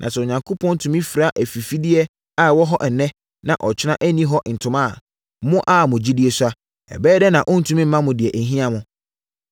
Na sɛ Onyankopɔn tumi fira afifideɛ a ɛwɔ hɔ ɛnnɛ na ɔkyena ɛnni hɔ ntoma a, mo a mo gyidie sua, ɛbɛyɛ dɛn na ɔrentumi mma mo deɛ ɛhia mo?